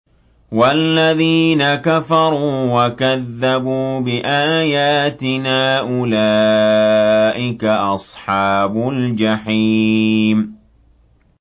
وَالَّذِينَ كَفَرُوا وَكَذَّبُوا بِآيَاتِنَا أُولَٰئِكَ أَصْحَابُ الْجَحِيمِ